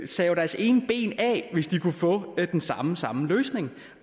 save deres ene ben af hvis de kunne få den samme samme løsning